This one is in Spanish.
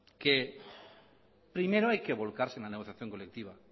que primero hay que volcarse en la negociación colectiva